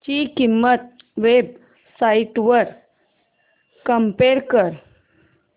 ची किंमत web sites वर कम्पेअर कर